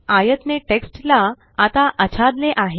आयात ने टेक्स्ट ला आता आच्छादले आहे